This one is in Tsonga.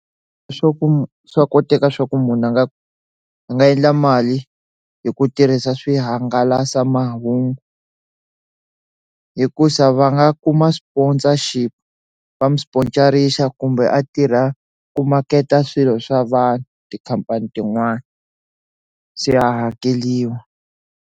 Swa ku swa koteka swa ku munhu a nga a nga endla mali hi ku tirhisa swihangalasamahungu hikusa va nga ku ma sponsorship va n'wi sponsor-ixa kumbe a tirha ku maketa swilo swa vanhu tikhampani tin'wana se a hakeliwa.